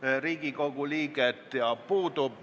Austatud Riigikogu, tänase istungi päevakorras ühtegi punkti ei ole.